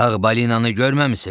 Ağ balinanı görməmisiz?